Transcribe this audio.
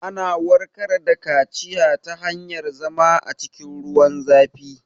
Ana warkar da kaciya ta hanyar zama a cikin ruwan zafi